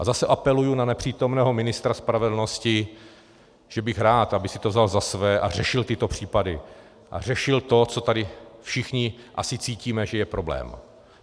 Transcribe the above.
A zase apeluji na nepřítomného ministra spravedlnosti, že bych rád, aby si to vzal za své a řešil tyto případy a řešil to, co tady všichni asi cítíme, že je problém.